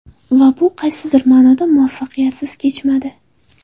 Va bu qaysidir ma’noda muvaffaqiyatsiz kechmadi.